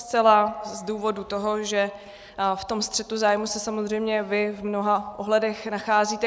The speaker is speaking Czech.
Zcela z důvodu toho, že v tom střetu zájmů se samozřejmě vy v mnoha ohledech nacházíte.